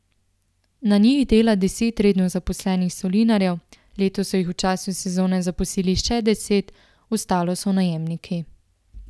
Na njih dela deset redno zaposlenih solinarjev, letos so jih v času sezone zaposlili še deset, ostalo so najemniki.